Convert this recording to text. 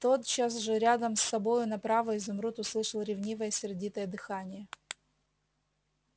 тотчас же рядом с собою направо изумруд услышал ревнивое сердитое дыхание